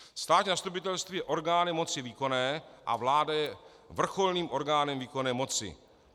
Státní zastupitelství je orgánem moci výkonné a vláda je vrcholným orgánem výkonné moci.